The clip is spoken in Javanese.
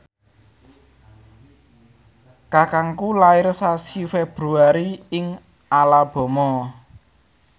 kakangku lair sasi Februari ing Alabama